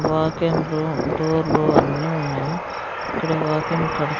వాకేన్లు డోర్లు అన్నీ ఉన్నాయి ఇక్కడ వాకెన్ కడ్--